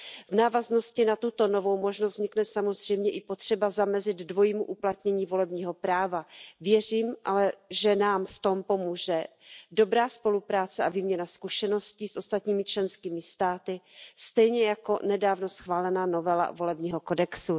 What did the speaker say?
V návaznosti na tuto novou možnost vznikne samozřejmě i potřeba zamezit dvojímu uplatnění volebního práva. Věřím ale, že nám v tom pomůže dobrá spolupráce a výměna zkušeností s ostatními členskými státy stejně jako nedávno schválená novela volebního kodexu.